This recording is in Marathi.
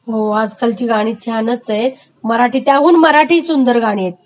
हो आजकालची गाणी छानच आहेत आणि त्याहून मराठी...मराठी सुंदर गाणी आहेत.